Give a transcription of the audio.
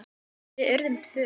Við urðum tvö.